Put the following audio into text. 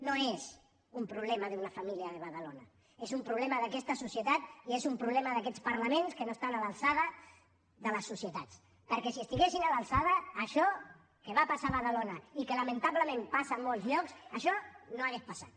no és un problema d’una família de badalona és un problema d’aquesta societat i és un problema d’aquests parlaments que no estan a l’alçada de les societats perquè si estiguessin a l’alçada això que va passar a badalona i que lamentablement passa a molts llocs això no hauria passat